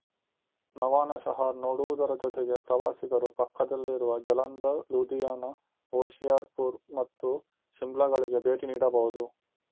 ನವಾನಶಹರ್ ನೋಡುವುದರ ಜೊತೆಗೆ ಪ್ರವಾಸಿಗರು ಪಕ್ಕದಲ್ಲಿರುವ ಜಲಂಧರ್ ಲೂಧಿಯಾನ ಹೊಶಿಯರ್ ಪುರ್ ಮತ್ತು ಶಿಮ್ಲಾಗಳಿಗೆ ಭೇಟಿ ನೀಡಬಹುದು